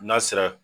N'a sera